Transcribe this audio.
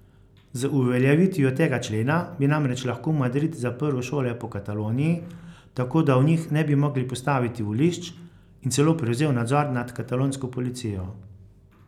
Z uveljavitvijo tega člena bi namreč lahko Madrid zaprl šole po Kataloniji, tako da v njih ne bi mogli postaviti volišč, in celo prevzel nadzor na katalonsko policijo.